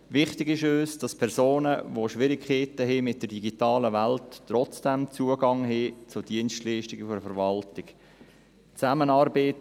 Wichtig ist uns, dass Personen, die mit der digitalen Welt Schwierigkeiten haben, trotzdem Zugang zu Dienstleistungen der Verwaltung haben.